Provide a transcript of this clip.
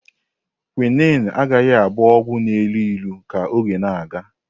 Quinne agaghị abụ ọgwụ na-elu ilu ka oge na-aga.